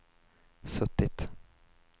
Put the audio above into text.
suttit